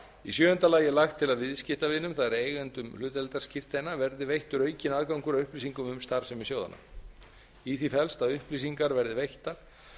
í áttunda lagi er lagt til að viðskiptavinum það er eigendum hlutdeildarskírteina verði veittur aukinn aðgangur að upplýsingum um starfsemi sjóðanna í því felst að upplýsingar verði veittar